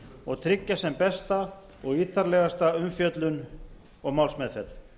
og tryggja sem besta og ítarlegasta umfjöllun og málsmeðferð